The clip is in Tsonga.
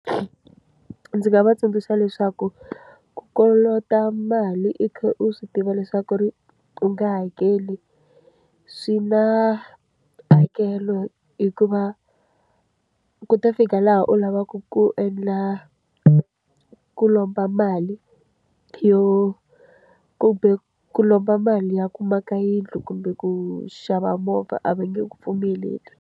Ndzi nga va tsundzuxa leswaku, ku kolota mali u kha u swi tiva leswaku ri u nge hakeli, swi na hakelo hikuva ku ta fika laha u lavaka ku endla ku lomba mali yo kumbe ku lomba mali ya ku maka yindlu kumbe ku xava movha a va nge ku pfumeleli.